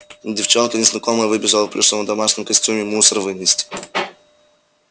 девчонка незнакомая выбежала в плюшевом домашнем костюме мусор вынести